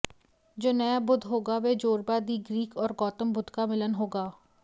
जो नया बुद्ध होगा वह जोरबा दि ग्रीक और गौतम बुद्ध का मिलन होगा